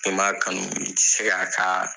N'i ma kanu i ti se ka a ka